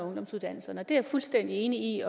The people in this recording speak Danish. ungdomsuddannelserne det er jeg fuldstændig enig